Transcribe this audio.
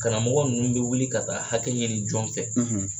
Karamɔgɔ ninnu bi wili ka taa hakɛ ɲini jɔn fɛ ?